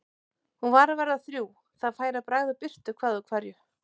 Hún var að verða þrjú, það færi að bregða birtu hvað úr hverju.